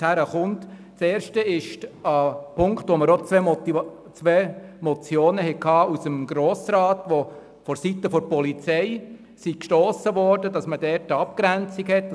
Zum ersten Punkt gab es bereits zwei Motionen im Grossen Rat, die vonseiten der Polizei angeregt wurden, weil man klare Verhältnisse und Abgrenzungen wünschte.